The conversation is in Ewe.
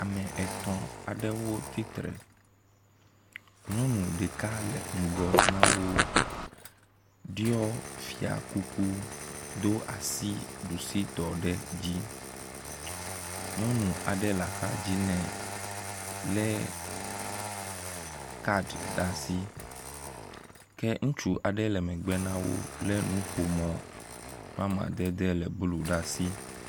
Ame etɔ̃ aɖewo tsitre, nyɔnu ɖeka le ŋgɔ na wo ɖɔ fia kuku do asi ɖusitɔ ɖe dzi. Nyɔnu aɖe le axadzi nɛ, lé kad ɖe asi, ke ŋutsu aɖe le megbe na wo lé nuƒomɔ, ƒe amadede le blu ɖe asi.